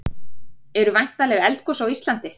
Eru væntanleg eldgos á Íslandi?